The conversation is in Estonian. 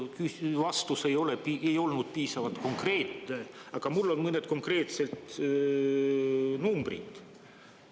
No ausalt öeldes vastus ei olnud piisavalt konkreetne, aga mul on mõned konkreetsed numbrid.